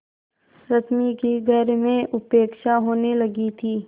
रश्मि की घर में उपेक्षा होने लगी थी